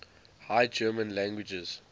high german languages